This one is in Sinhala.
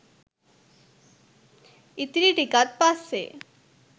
ඉතිරි ටිකත් පස්සේ